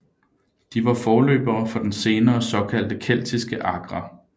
De var forløbere for de senere såkaldte keltiske agre